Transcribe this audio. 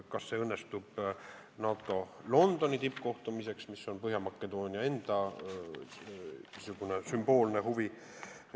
Kas see õnnestub NATO Londoni tippkohtumise ajaks, mis on Põhja-Makedoonia enda sümboolne huvi?